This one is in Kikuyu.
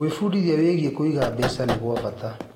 Gwĩbundithia wĩgiĩ kũiga mbeca nĩ gwa bata.